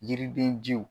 Yiriden jiw